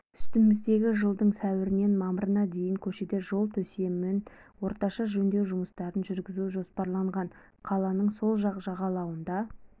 үстіміздегі жылдың сәуірінен мамырына дейін көшеде жол төсемін орташа жөндеу жұмыстарын жүргізу жоспарланған қаланың сол жағалауында